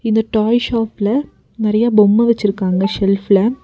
இந்த டாய் ஷாஃப்பில நெறைய பொம்ம வச்சிருக்காங்க செல்ஃப்ல